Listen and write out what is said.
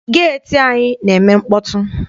Geeti anyi na-eme mkpọtụ.